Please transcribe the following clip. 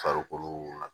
Farikolo la